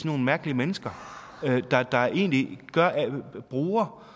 nogle mærkelige mennesker de bruger